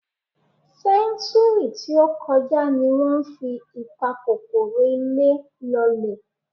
Sẹ́ńtúúrì tí ó kọjá ni wọ́n fi ìpakòkòrò ilé lọ́lẹ̀.